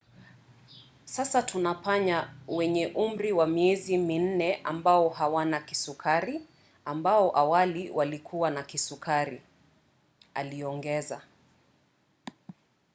"sasa tuna panya wenye umri wa miezi minne ambao hawana kisukari ambao awali walikuwa na kisukari aliongeza